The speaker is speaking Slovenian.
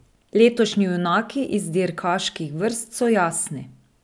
Letošnji junaki iz dirkaških vrst so jasni.